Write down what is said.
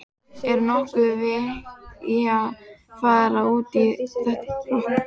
Er nokkuð vit í að fara út í þetta rok?